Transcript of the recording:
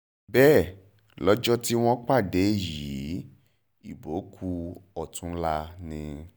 bẹ́ẹ̀ lọ́jọ́ tí wọ́n ń pàdé yìí ìbò kù ọ̀túnlá ni